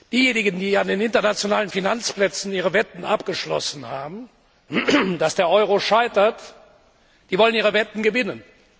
Diejenigen, die an den internationalen Finanzplätzen ihre Wetten abgeschlossen haben, dass der Euro scheitert, wollen ihre Wetten gewinnen.